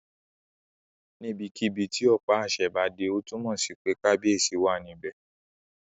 Níbikíbi tí ọ̀pá àṣẹ bá dé, ó túnmọ̀ sí pé kábíyèsí wà níbẹ̀